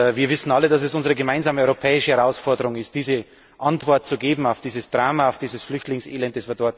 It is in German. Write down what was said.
Wir wissen alle, dass es unsere gemeinsame europäische Herausforderung ist, eine Antwort zu finden auf dieses Drama und dieses Flüchtlingselend.